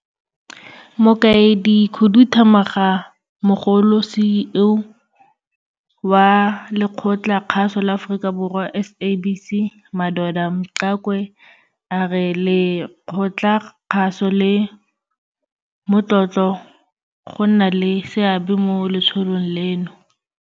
Mokaedikhuduthamagamogolo CEO wa Lekgotlakgaso la Aforika Borwa SABC Madoda Mxakwe a re lekgotlakgaso le motlotlo go nna le seabe mo letsholong leno.